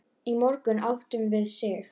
Í morgun áttum við Sig.